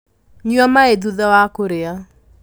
Nyua maĩthutha wa kũrĩa.